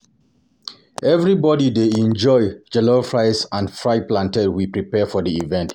Everybody dey enjoy the jollof rice and fried plantain we prepare for the event.